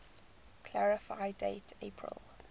clarify date april